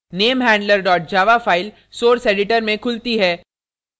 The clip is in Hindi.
namehandler java file source editor में खुलती है